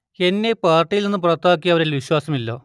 എന്നെ പാർട്ടിയിൽ നിന്ന് പുറത്താക്കിയവരിൽ വിശ്വാസമില്ല